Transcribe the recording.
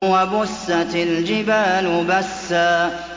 وَبُسَّتِ الْجِبَالُ بَسًّا